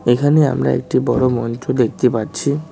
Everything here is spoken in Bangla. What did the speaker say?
এখানে আমরা একটি বড় মঞ্চ দেখতে পাচ্ছি।